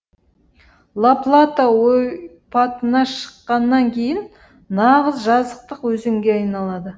ла плата ойпатына шыққаннан кейін нағыз жазықтық өзенге айналады